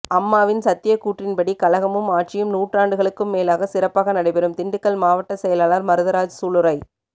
அம்மாவின் சத்திய கூற்றின்படி கழகமும் ஆட்சியும் நூற்றாண்டுகளுக்கும் மேலாக சிறப்பாக நடைபெறும் திண்டுக்கல் மாவட்ட செயலாளர் மருதராஜ் சூளுரை